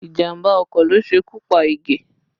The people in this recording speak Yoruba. Ìjàmbá ọkọ̀ ló ṣekú pa Ige